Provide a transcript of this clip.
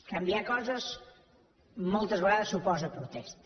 canviar coses moltes vegades suposa protesta